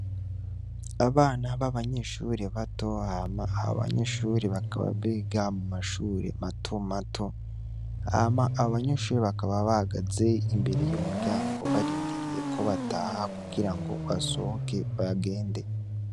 Abana babanyeshre bato hama abanyeshure bakaba biga mumashure mato mato hama abo banyeshure bakaba bahagaze imbere y' umuryango barindiriye ko bataha kugira ngo basohoke bagende.